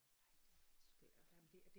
Nej det er lidt skørt